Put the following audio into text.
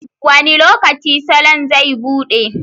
Wani lokaci salon zai buɗe?